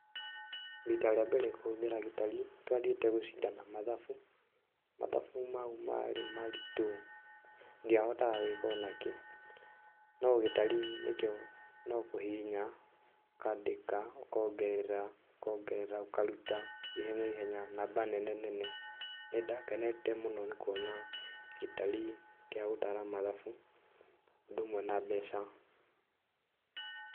Rita rĩa mbere kũhũthĩra gĩtari twathiĩte gũcindana mathabu, mathabu mau marĩ maritũ ndiahotaga gwĩka o nakĩ, no gĩtari nĩkĩo no kũhihinya, ũkandĩka, ũkongerera ũkongerera, ũkaruta ihenya ihenya, namba nene nene, nĩ ndakenete mũno nĩ kuona gĩtari gĩa gũtara mathabu, ũndũ ũmwe na mbeca.